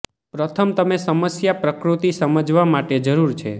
પ્રથમ તમે સમસ્યા પ્રકૃતિ સમજવા માટે જરૂર છે